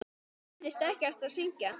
Mér leiðist ekki að syngja.